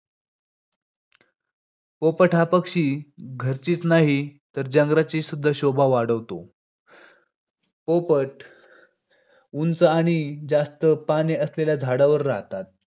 परकीय सत्तेविरुद्ध लढा करण्यात आवश्यक असलेल्या शिस्तीचे शिक्षण राजमाता जिजाऊ यांच्याकडून मिळवले.